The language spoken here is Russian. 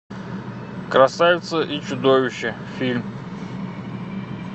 красавица и чудовище фильм